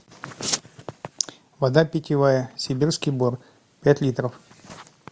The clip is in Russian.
вода питьевая сибирский бор пять литров